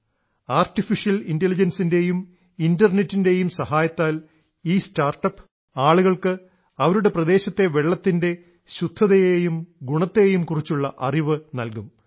artificial ഇൻറലിജൻസിൻറെയും ഇൻറർനെറ്റിൻറെയും സഹായത്താൽ ഈ സ്റ്റാർട്ടപ്പ് ആളുകൾക്ക് അവരുടെ പ്രദേശത്തെ വെള്ളത്തിൻറെ ശുദ്ധതയേയും ഗുണത്തേയും കുറിച്ചുള്ള അറിവ് നൽകും